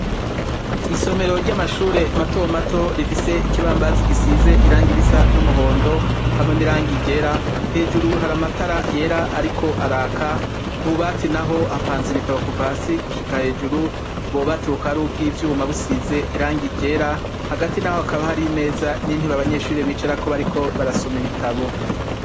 Isomero ry'amashuri mato mato rifise ikibambazi gisize irangi risa n'umuhondo hamwe n'irangi ryera hejuru hari amatara yera ariko araka ku bubati naho hapanze ibitabo kuva hasi gushika hejuru ubwo bubati bukaba ari ubwivyuma busize irangi ryera hagati naho hakaba hari imeza n'intebe abanyeshuri bicarako bariko barasoma ibitabo.